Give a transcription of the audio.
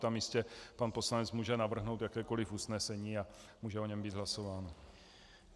Tam jistě pan poslanec může navrhnout jakékoliv usnesení a může o něm být hlasováno.